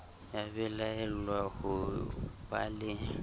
ya belaellwang ho ba le